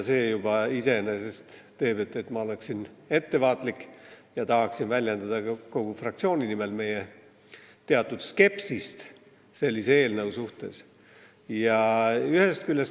See juba iseenesest toob kaasa selle, et ma olen ettevaatlik ja tahan väljendada ka kogu fraktsiooni nimel meie teatud skepsist sellise eelnõu suhtes.